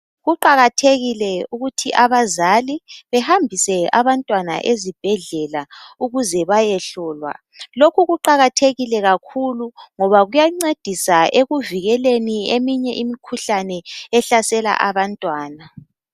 Kuqakathekile ukuthi abazali behambise abantwana ezibhedlela ukuze bayehlolwa . Lokhu kuqakathekile kakhulu ngoba kuyancedisa ekuvikeleni eminye imikhuhlane ehlasela abantwana.